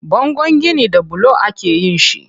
Bangon gini da bulo akeyin shi.